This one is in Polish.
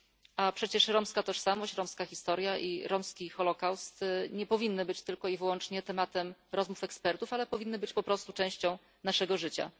A przecież romska tożsamość, romska historia i romski holocaust nie powinny być tylko i wyłącznie tematem rozmów ekspertów, ale powinny być po prostu częścią naszego życia.